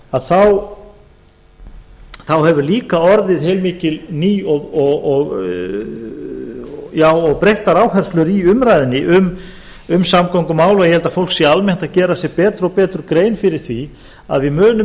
að þá hafa líka orðið heilmiklar nýjar og breyttar áherslur í umræðunni um samgöngumál og ég held að fólk sé almennt að gera sér betur og betur grein fyrir því að við munum